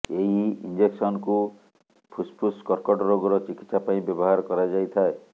ଏହି ଇଞ୍ଜେକ୍ସନକୁ ଫୁସ୍ଫୁସ୍ କର୍କଟ ରୋଗର ଚିକିତ୍ସା ପାଇଁ ବ୍ୟବହାର କରାଯାଇଥାଏ